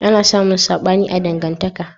ana samun saɓani a dangantaka